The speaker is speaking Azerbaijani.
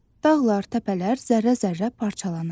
Dağlar, təpələr zərrə-zərrə parçalanır.